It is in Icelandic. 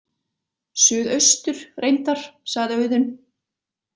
Suðaustur, reyndar, sagði Auðunn.